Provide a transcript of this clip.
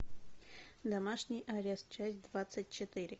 домашний арест часть двадцать четыре